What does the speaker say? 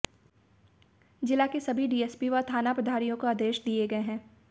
जिला के सभी डीएसपी व थाना प्रभारियों को आदेश दिए गए है